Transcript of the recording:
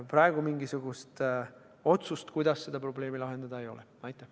Aga mingisugust otsust, kuidas seda probleemi lahendada, praegu ei ole.